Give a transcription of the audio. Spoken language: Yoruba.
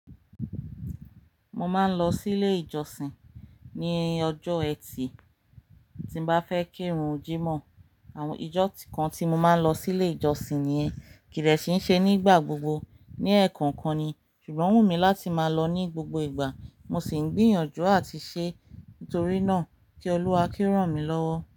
Mo máa ń lọ sílé ìjọsìn ní ọjọ́ Ẹtì tí n bá fẹ́ kírun jímọ̀. Àwọn ijọ́ kan tí mo máa ń lọ sí ilé ìjọsìn nìyẹn kì dẹ̀ kí ń ṣe nígbà gbogbo, ní ẹ̀ẹ̀kọ̀ọ̀kan ni, ṣùgbọ́n ó wù mí láti máa lọ ní gbogbo ìgbà, mo sì ń gbìyànjú àti ṣe é, torí náà, kí Olúwa kí ó ràn mí lọ́wọ́